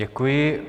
Děkuji.